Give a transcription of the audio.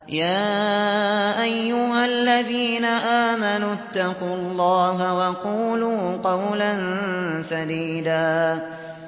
يَا أَيُّهَا الَّذِينَ آمَنُوا اتَّقُوا اللَّهَ وَقُولُوا قَوْلًا سَدِيدًا